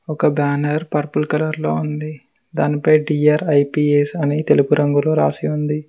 ఒక banner purple colour లో ఉంది దానిపై డి_ఆర్_ఐ_పి_ఎస్ అని తెలుపు రంగులో రాసి ఉంది.